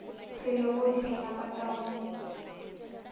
hlwelego di hlaga ka go